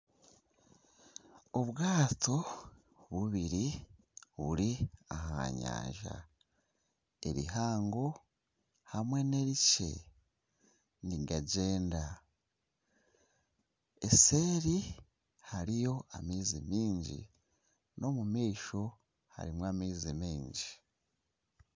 Obwato bubiri buri aha nyanja erihango hamwe n'erikye nigagyenda, eseeri hariyo amaizi miingi, n'omumaisho harimu amaizi miingi.